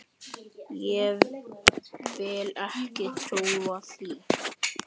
Ég vil ekki trúa því.